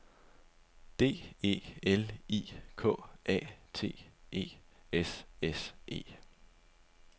D E L I K A T E S S E